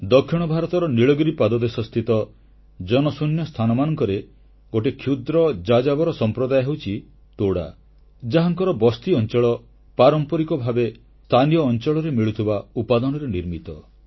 ଦକ୍ଷିଣ ଭାରତର ନୀଳଗିରି ପାଦଦେଶ ସ୍ଥିତ ଜନଶୂନ୍ୟ ସ୍ଥାନମାନଙ୍କରେ ଗୋଟିଏ କ୍ଷୁଦ୍ର ଯାଯାବର ସମ୍ପ୍ରଦାୟ ହେଉଛି ତୋଡା ଯାହାଙ୍କର ବସ୍ତିଅଂଚଳ ପାରମ୍ପରିକ ଭାବେ ସ୍ଥାନୀୟ ଅଂଚଳରେ ମିଳୁଥିବା ଉପାଦାନରେ ନିର୍ମିତ